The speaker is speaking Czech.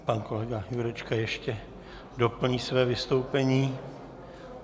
Pan kolega Jurečka ještě doplní své vystoupení.